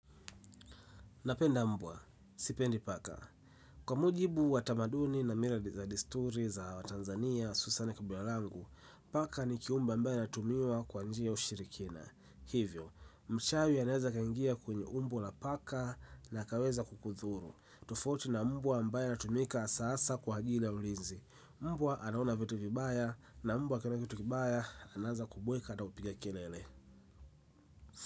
Napenda mbwa, sipendi paka kwa mujibu wa tamaduni na mila za desturi za wa Tanzania, hususan kabila langu, paka ni kiumbe ambaye anatumiwa kwa njia ya ushirikina. Hivyo, mchawi anaweza kaingia kwenye umbo la paka na kuweza kukudhuru. Tofauti na mbwa ambaye anatumika hasa kwa ajili ya ulinzi. Mbwa anaona vitu vibaya na mbwa akiona kitu kibaya anaanza kubweka ata kupiga kelele.